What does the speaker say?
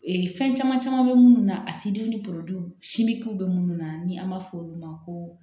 fɛn caman caman bɛ minnu na a sidiw ni bɛ minnu na ni an b'a fɔ olu ma ko